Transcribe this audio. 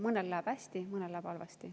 Mõnel läheb hästi, mõnel halvasti.